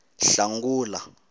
hlangula